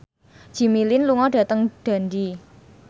Jimmy Lin lunga dhateng Dundee